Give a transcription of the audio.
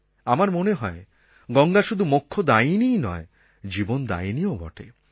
আমার মনে হয় গঙ্গা শুধু মোক্ষদায়িনীই নয় জীবনদায়িনীও বটে